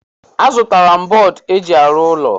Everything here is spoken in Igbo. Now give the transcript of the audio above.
Azụtala m bọọdụ eji arụ ụlọ.